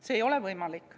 See ei ole võimalik.